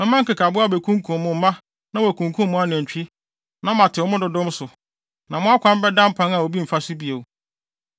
Mɛma nkekaboa abekunkum mo mma na wɔakunkum mo anantwi, na matew mo dodow so, na mo akwan bɛda mpan a obi mfa so bio.